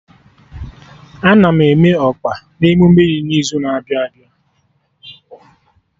Ana m eme ọka na emume dị n'izu na-abịa abịa